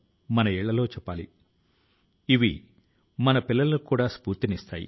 విజ్ఞాన శాస్త్రం పై ఉన్న నమ్మకాన్ని చూపుతుంది